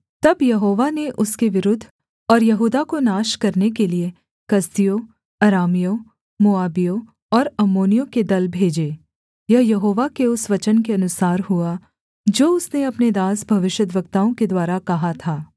तब यहोवा ने उसके विरुद्ध और यहूदा को नाश करने के लिये कसदियों अरामियों मोआबियों और अम्मोनियों के दल भेजे यह यहोवा के उस वचन के अनुसार हुआ जो उसने अपने दास भविष्यद्वक्ताओं के द्वारा कहा था